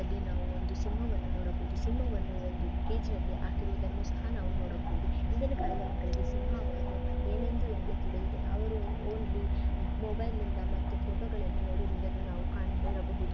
ಅಲ್ಲಿ ನಾವು ಒಂದು ಸಿಂಹವನ್ನು ನೋಡಬಹುದು ಸಿಂಹವನ್ನು ಒಂದು ಕೇಜಿನಲ್ಲಿ ಹಾಕಿರುವುದನ್ನು ಸಹ ನಾವು ನೋಡಬಹುದು. ಹಿಂದಿನ ಕಾಲದ ಮಕ್ಕಳಿಗೆ ಸಿಂಹವನ್ನು ಏನೆಂದು ಎಂದೇ ತಿಳಿಯುವುದಿಲ್ಲ ಅವರು ಒನ್ಲಿ ಮೊಬೈಲ್ ನಿಂದ ಮತ್ತು ಫೋಟೋಗಳ್ಳಲಿ ನೋಡಿರುವುದನ್ನು ನಾವು ಕಂಡಿರಬಹುದು.